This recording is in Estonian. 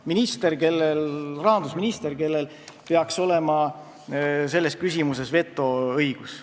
" Ta on rahandusminister, kellel peaks olema selles küsimuses vetoõigus.